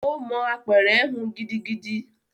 Ó mọ apẹ̀rẹ̀ hun gidigidi